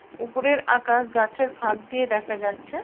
উপরের আকাশ গাছে ফাঁক দিয়ে দেখা যাচ্ছে।